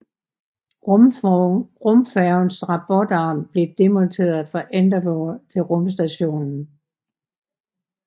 Rumfærgens robotarm blev demonteret fra Endeavour til rumstationen